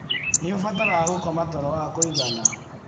Nĩ ũbataraga gũkoma toro wa kũigana